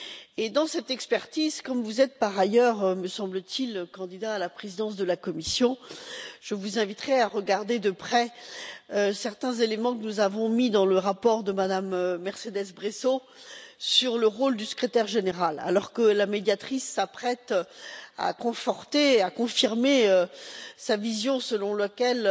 Et, dans cette expertise comme vous êtes par ailleurs, me semble t il, candidat à la présidence de la Commission je vous inviterai à regarder de près certains éléments que nous avons mis dans le rapport de Mme Mercedes Bresso sur le rôle du secrétaire général, alors que la Médiatrice s'apprête à conforter, à confirmer, sa vision selon laquelle